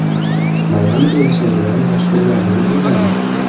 Mayamida yashaydigan mashhurlarning uylari .